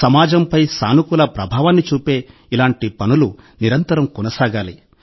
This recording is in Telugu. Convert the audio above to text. సమాజంపై సానుకూల ప్రభావాన్ని చూపే ఇలాంటి పనులు నిరంతరం కొనసాగాలి